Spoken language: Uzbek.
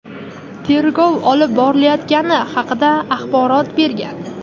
tergov olib borilayotgani haqida axborot bergan.